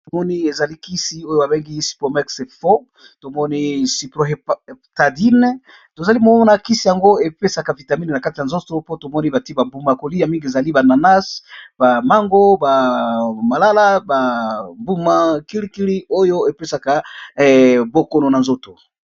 batomoni ezali kisi oyo babengi sipomexefo tomoni syprohéptadine tozali momomo na kisi yango epesaka vitamine na kate ya nzoto mpo tomoni bati bambuma-koli ya mingi ezali ba nanase bamango bamalala bambuma kilikili oyo epesaka bokono na nzoto